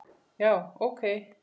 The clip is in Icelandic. Já, ok.